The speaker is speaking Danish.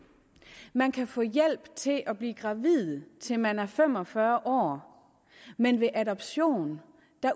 man kan få hjælp til at blive gravid til man er fem og fyrre år men ved adoption